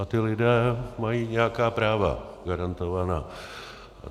A ti lidé mají nějaká práva, garantovaná.